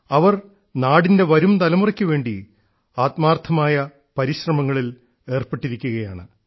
അവർ നാടിൻറെ വരുംതലമുറക്കുവേണ്ടി ആത്മാർത്ഥമായി പരിശ്രമിങ്ങളിൽ ഏർപ്പെട്ടിരിക്കുകയാണ്